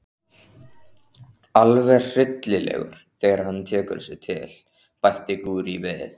Alveg hryllilegur þegar hann tekur sig til, bætti Gurrý við.